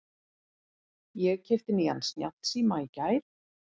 Ég keypti nýjan snjallsíma í gær.